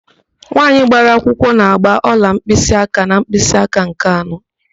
Nwaanyị gbara akwụkwọ na-ágbà ọla mkpịsịáká na mkpịsịáká nke anọ.